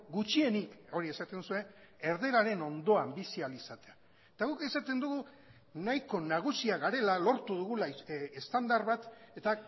gutxienik hori esaten duzue erdararen ondoan bizi ahal izatea eta guk esaten dugu nahiko nagusiak garela lortu dugula estandar bat eta